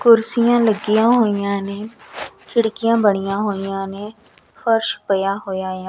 ਕੁਰਸੀਆਂ ਲੱਗੀਆਂ ਹੋਈਆਂ ਨੇ ਖਿੜਕੀਆਂ ਬਣੀਆਂ ਹੋਈਆਂ ਨੇ ਫਰਸ਼ ਪਇਆ ਹੋਇਆ ਹੈ।